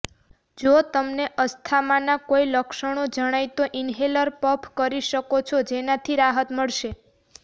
જો તમને અસ્થામાના કોઈ લક્ષણો જણાય તો ઈન્હેલર પફ કરી શકો છો જેનાથી રાહત મળશે